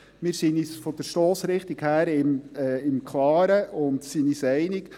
Wir sind uns von der Stossrichtung her im Klaren und sind uns einig.